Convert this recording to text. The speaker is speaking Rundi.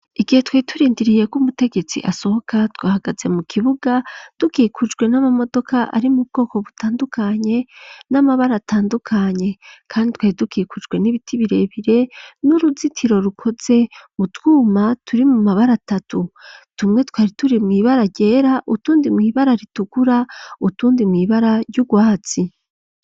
Igihe twari turindiriye ko umutegetsi asohoka twahagaze mu kibuga tukikujwe n'amamodoka ari mu bwoko butandukanye n'amabara atandukanye kandi twari dukikujwe n'ibiti birebire n'uruzitiro rukoze mu twuma turi mu mabara atatu tumwe twari turi mu ibara ryera utundi mw'ibara ritukura utundi mw'ibara ry'urwatsi.